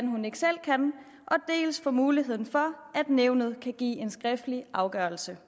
hun ikke selv kan dels for muligheden for at nævnet kan give en skriftlig afgørelse